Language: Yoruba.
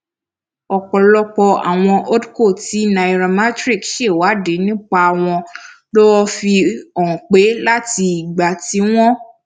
ọpọlọpọ àwọn holdco tí nairametrics ṣèwádìí nípa wọn ló fi hàn pé láti ìgbà tí wọn